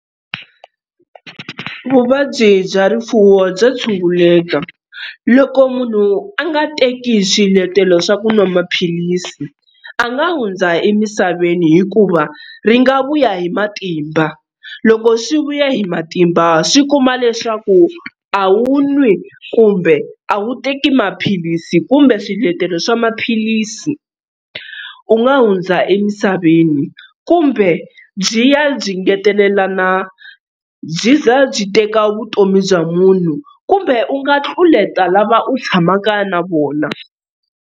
Vuvabyi bya rifuwo bya tshunguleka loko munhu a nga teki swiletelo swa ku nwa maphilisi a nga hundza emisaveni hikuva ri nga vuya hi matimba loko swi vuya hi matimba swi kuma leswaku a wu nwi kumbe a wu teki maphilisi kumbe swiletelo swa maphilisi u nga hundza emisaveni kumbe byi ya byi ngetelelana byi za byi teka vutomi bya munhu kumbe u nga tlulela lava u tshamaka na vona.